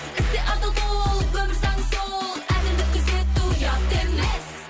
істе адал бол өмір заңы сол әділдік күзету ұят емес